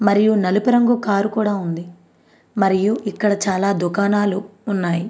మరియు నలుపు రంగు కారు కూడా ఉంది. మరియు ఇక్కడ చాలా దుకాణలు ఉన్నాయి --